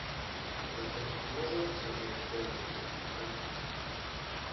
можно посмотреть фэнтези давай посмотрим